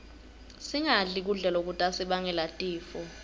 singadli kudla lokutasibangela tifo